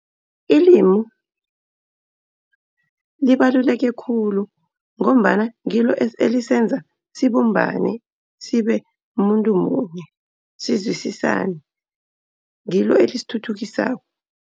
Ilimu libaluleke khulu ngombana ngilo elisebenza sibumbane, sibe mumuntu munye sizwisisane. Ngilo elisithuthukisako.